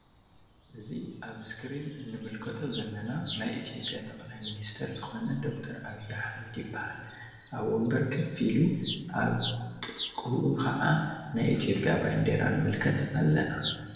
እዚ ኣብ እስክሪን እንምልከቶ ዘለና ናይ ኢትዮጵያ ጠቅላይ ሚንስተር ዝኮነ ዶክተር ዓብይ ኣህመድ ይበሃል። ኣብ ወንበር ከፍ ኢሉ ኣብ ጥቅኡ ክዓ ናይ ኢትዮጵያ ባንዴራ ንምልከት ኣለና።